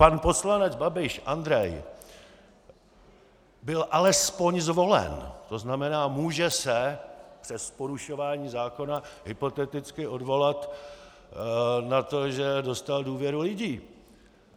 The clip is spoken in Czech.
Pan poslanec Babiš Andrej byl alespoň zvolen, to znamená, může se přes porušování zákona hypoteticky odvolat na to, že dostal důvěru lidí.